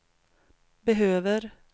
behöver